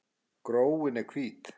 Gróin eru hvít.